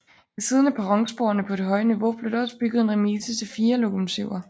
Ved siden af perronsporene på det høje niveau blev der også bygget en remise til fire lokomotiver